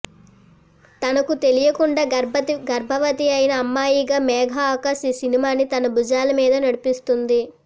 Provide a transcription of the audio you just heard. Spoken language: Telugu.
తనకు తెలియకుండా గర్భవతి అయిన అమ్మాయిగా మేఘా ఆకాష్ ఈ సినిమాని తన భుజాల మీద నడిపిస్తుంది